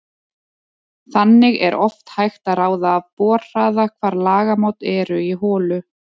Þannig er oft hægt að ráða af borhraða hvar lagamót eru í holu.